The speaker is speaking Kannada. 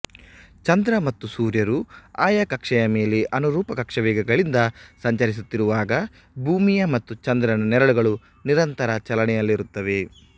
ಚಂದ್ರ ಮತ್ತು ಸೂರ್ಯರು ಆಯಾ ಕಕ್ಷೆಯ ಮೇಲೆ ಅನುರೂಪ ಕಕ್ಷಾವೇಗಗಳಿಂದ ಸಂಚರಿಸುತ್ತಿರುವಾಗ ಭೂಮಿಯ ಮತ್ತು ಚಂದ್ರನ ನೆರಳುಗಳು ನಿರಂತರ ಚಲನೆಯಲ್ಲಿರುತ್ತವೆ